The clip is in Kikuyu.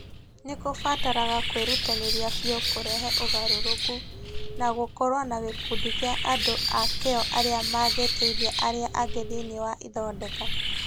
Nĩ kũbataraga kwĩrutanĩria biũ kũrehe ũgarũrũku, na gũkorũo na gĩkundi kĩa andũ a kĩyo arĩa mangĩteithia arĩa angĩ thĩinĩ wa ithondeka.